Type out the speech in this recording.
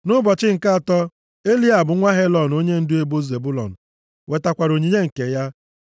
Nʼụbọchị nke atọ Eliab nwa Helọn onyendu ebo Zebụlọn wetakwara onyinye nke ya.